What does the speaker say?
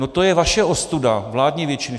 No, to je vaše ostuda, vládní většiny.